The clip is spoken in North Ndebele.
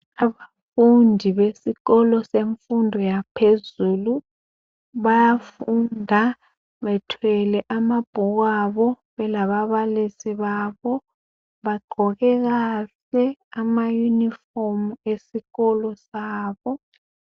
Abafundi besikolo semfundo yaphezulu. Bayafunda bethwele amabhukwabo belababalisi babo. Bagqoke kahle amayunifomu esikolo sabo.